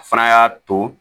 A fana y'a to